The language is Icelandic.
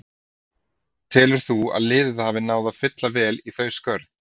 Telur þú að liðið hafi náð að fylla vel í þau skörð?